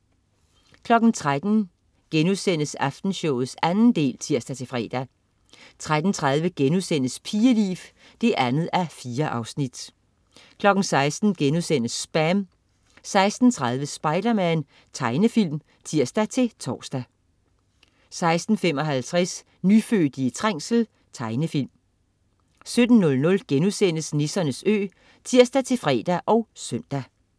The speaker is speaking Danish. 13.00 Aftenshowet 2. del* (tirs-fre) 13.30 Pigeliv 2:4* 16.00 SPAM* 16.30 Spiderman. Tegnefilm (tirs-tors) 16.55 Nyfødte i trængsel. Tegnefilm 17.00 Nissernes Ø* (tirs-fre og søn)